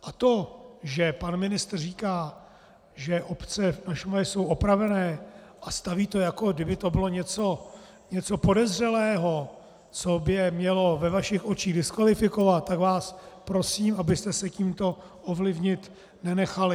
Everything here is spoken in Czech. A to, že pan ministr říká, že obce na Šumavě jsou opravené, a staví to, jako kdyby to bylo něco podezřelého, co by je mělo ve vašich očích diskvalifikovat, tak vás prosím, abyste se tímto ovlivnit nenechali.